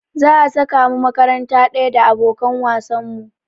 Za a saka mu makaranta ɗaya da abokan wasan mu.